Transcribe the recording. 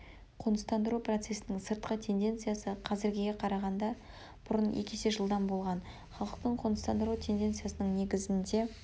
қоныстандыру процесінің сыртқы тенденциясы қазіргіге қарағанда бұрын екі есе жылдам болған халықтың қоныстандыру тенденциясының негізінде